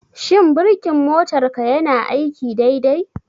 Shin birkin motarka yana aiki dai dai?